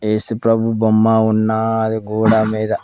ఏసుప్రభు బొమ్మ ఉన్నాది గోడా మీద.